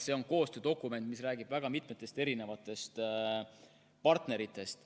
See on koostöödokument, mis räägib väga mitmest partnerist.